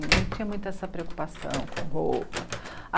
Ninguém tinha muito essa preocupação com roupa.